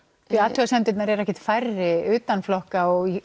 athugasemdirnar eru ekkert færri utan flokka og